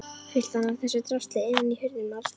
Fyllti hann af þessu drasli innan í hurðum og allsstaðar.